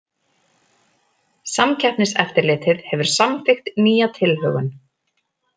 Samkeppniseftirlitið hefur samþykkt nýja tilhögun